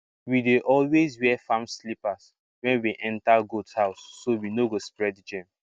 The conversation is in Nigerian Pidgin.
we dey always wear farm slippers when we enter goat house so we no go spread germ